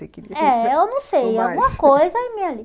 é, eu não sei, alguma coisa aí